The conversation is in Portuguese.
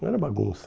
Não era bagunça.